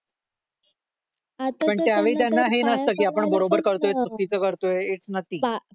पण त्यावेळी त्यांना हे नसतं की आपण बरोबर करतोय चुकीचं करतोय इट्स नथी